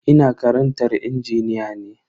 Ina karantar injiniya ne.